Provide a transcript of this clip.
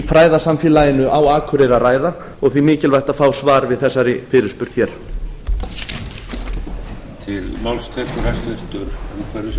fræðasamfélaginu á akureyri að ræða og því mikilvægt að fá svar við þessari fyrirspurn hér